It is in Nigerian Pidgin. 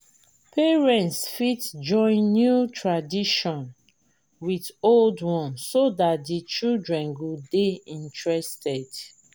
parents fit join new tradition with old one so dat di children go dey interested